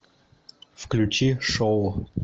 включи шоу